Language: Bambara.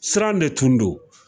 Sira de tun don